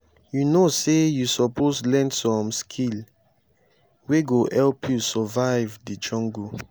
you know sey you suppose learn some skill wey go help you survive di jungle